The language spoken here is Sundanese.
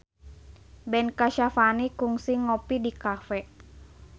Ben Kasyafani kungsi ngopi di cafe